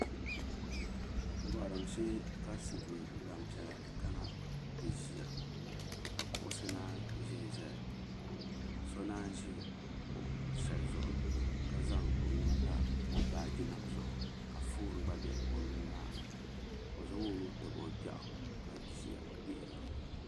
Gorim shee ka Silimiin gbampiɛla kana ti ʒia ka kuɣusi nanyi ʒinʒiya ka nanyi ʒi kuɣu sheli zuɣu ka zaŋ o nuu pa o baagi nima zuɣu ka fooni gba be o nuu maa ni ka o zaŋ o nuu tabi o gbɛɣu ka ʒia gbihira.